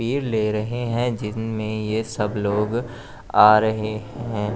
ले रहे हैं जिन में ये सब लोग आ रहे हैं।